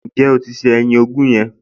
Ǹjẹ́ o ti se ẹyin ogún yẹn?